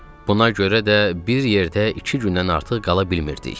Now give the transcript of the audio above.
Buna görə də bir yerdə iki gündən artıq qala bilmirdik.